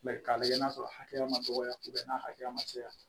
k'a lajɛ n'a sɔrɔ a hakɛya ma dɔgɔya n'a hakɛya ma caya